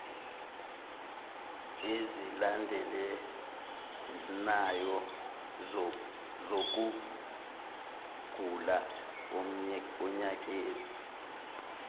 ezilandelanayo zokugula onyakeni